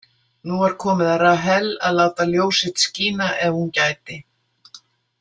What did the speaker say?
Nú var komið að Rahel að láta ljós sitt skína ef hún gæti.